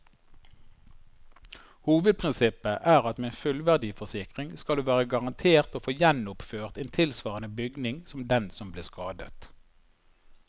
Hovedprinsippet er at med en fullverdiforsikring skal du være garantert å få gjenoppført en tilsvarende bygning som den som ble skadet.